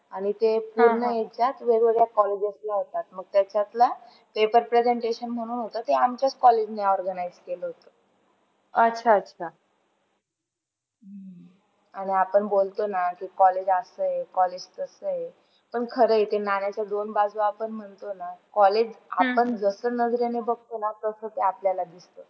आणि आपण बोलतो ना की, college असं आहे college तसं आहे पण खरे ते नाण्याच्या दोन बाजू आपण म्हण्त्तो ना college आपण जसं नजरेने बघताना तस ते आपल्याला दिसते.